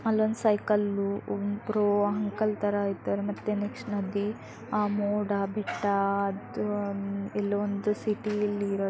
ಅಲ್ಲೊಂದು ಸೈಕಲ್ ಒಬ್ಬರು ಅಂಕಲ್ ತರ ಇದ್ದಾರೆ ಮತ್ತೆ ನೆಕ್ಸ್ಟ್ ನದಿ ಆ ಮೋಡ ಬೆಟ್ಟಅದು ಇಲ್ಲೊಂದು ಸಿಟಿಯಲ್ಲಿ ಇರೋ ತರ--